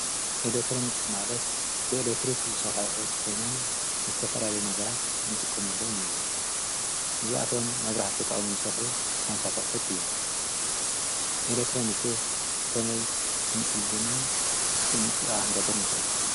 ኤሌትሮኒክስ ማለት ብኤሌትሪክ ዝሠርሑ ኣቑሑት ኮይኖም ምስ ዝተፈላለዩ ነገራት እንጥቀመሎም እዮም፡፡ እዚኣቶም መብራህቲ ተጠቒሞም ዝሰርሑ ዓይነታት ኣቑሑት እዮም፡፡ ኤሌትሮኒክስ ከመይ ክንፅግንን ጥንንቃቐ ክንገብርን ንኽእል?